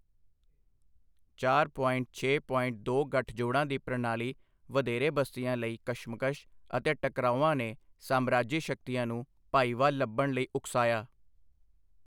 ਚਾਰ ਪੋਇੰਟ ਛੇ ਪੋਇੰਟ ਦੋ ਗੱਠਜੋੜਾਂ ਦੀ ਪ੍ਰਣਾਲੀ ਵਧੇਰੇ ਬਸਤੀਆਂ ਲਈ ਕਸ਼ਮਕਸ਼ ਅਤੇ ਟਕਰਾਉਆਂ ਨੇ ਸਾਮਰਾਜੀ ਸ਼ਕਤੀਆਂ ਨੂੰ ਭਾਈਵਾਲ ਲੱਭਣ ਲਈ ਉਕਸਾਇਆ।